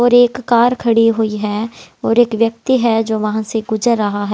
और एक कार खड़ी हुई है और एक व्यक्ति है जो वहां से गुजर रहा है।